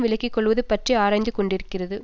விலக்கி கொள்வது பற்றி ஆராய்ந்துகொண்டிருக்கிறது